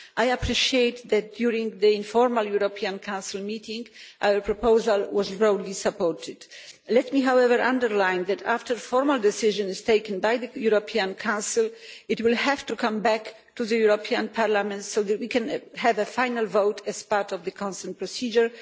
I appreciate that during the informal European Council meeting, our proposal was broadly supported. Let me however underline the fact that, after a formal decision is taken by the European Council, it will have to come back to the European Parliament so that we can have a final vote as part of the consent procedure.